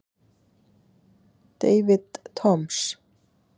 David Toms